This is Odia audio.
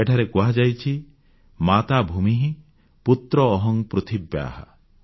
ଏଠାରେ କୁହାଯାଇଛି ମାତା ଭୂମିଃ ପୁତ୍ରୋ ଅହଂ ପୃଥିବ୍ୟାଃ